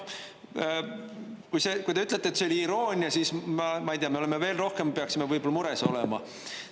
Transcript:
Kui te ütlete, et see oli iroonia, siis, ma ei tea, me peaksime võib-olla veel rohkem mures olema.